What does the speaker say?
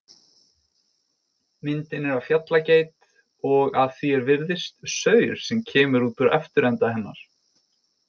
Myndin er af fjallageit og að því er virðist, saur sem kemur úr afturenda hennar.